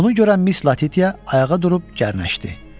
Bunu görən Miss Latitia ayağa durub gərnəşdi.